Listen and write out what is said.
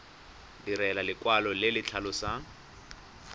direlwa lekwalo le le tlhalosang